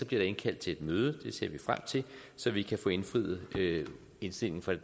der indkaldt til et møde og det ser vi frem til så vi kan få indfriet indstillingen fra det